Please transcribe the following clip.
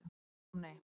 Og enn kom nei.